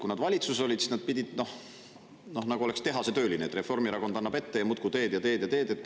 Kui nad valitsuses olid, siis nad pidid olema nagu tehasetöölised, et Reformierakond annab ette ja muudkui teed ja teed ja teed.